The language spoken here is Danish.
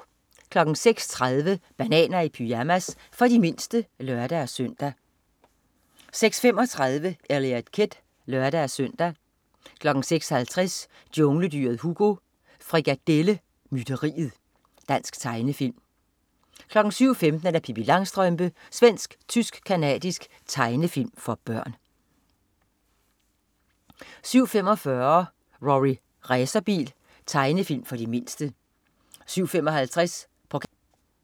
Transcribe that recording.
06.30 Bananer i pyjamas. For de mindste (lør-søn) 06.35 Eliot Kid (lør-søn) 06.50 Jungledyret Hugo. Frikadelle mytteriet. Dansk tegnefilm 07.15 Pippi Langstrømpe. Svensk-tysk-canadisk tegnefilm for børn